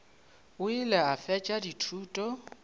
o ile a fetša dithuto